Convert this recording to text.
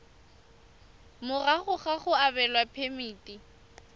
morago ga go abelwa phemiti